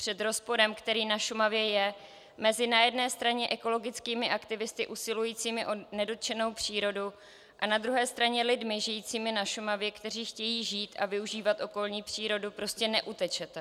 Před rozporem, který na Šumavě je mezi na jedné straně ekologickými aktivisty usilujícími o nedotčenou přírodu a na druhé straně lidmi žijícími na Šumavě, kteří chtějí žít a využívat okolní přírodu, prostě neutečete.